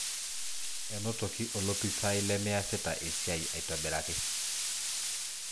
Enotoki olopisaai lemeasita esiai aitobiraki.